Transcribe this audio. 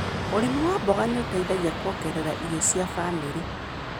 ũrĩmi wa mboga nĩũĩteithagia kũongerera iro cia famĩrĩ.